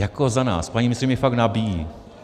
Jako za nás, paní ministryně mi fakt nabíjí.